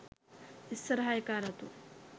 ඉස්සරහ එකා රතු